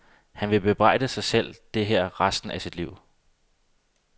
Han vil bebrejde sig det her resten af sit liv.